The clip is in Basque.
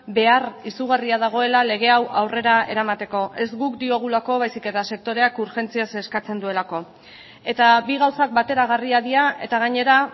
behar izugarria dagoela lege hau aurrera eramateko ez guk diogulako baizik eta sektoreak urgentziaz eskatzen duelako eta bi gauzak bateragarriak dira eta gainera